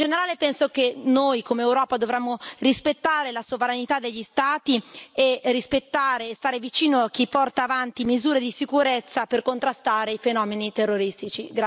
In generale penso che noi, come Europa, dovremmo rispettare la sovranità degli Stati e rispettare e stare vicino a chi porta avanti misure di sicurezza per contrastare i fenomeni terroristici.